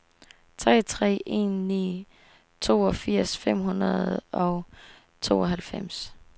tre tre en ni toogfirs fem hundrede og tooghalvfems